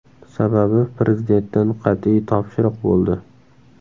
Sababi Prezidentdan qat’iy topshiriq bo‘ldi.